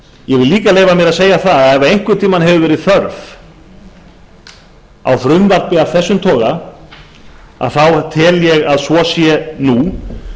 ég vil líka leyfa mér að segja það að ef einhvern tíma hefur verið þörf á frumvarpi af þessum toga tel ég að svo sé nú